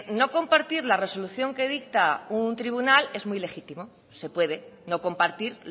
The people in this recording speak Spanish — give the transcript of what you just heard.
no compartir la resolución que dicta un tribunal es muy legítimo se puede no compartir